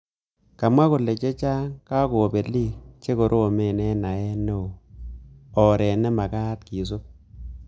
Kamwa kole chechang kokabelik che koromen ak naet neo oret nemakat kisup